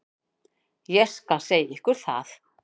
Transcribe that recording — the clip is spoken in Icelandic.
Ég skal segja ykkur það.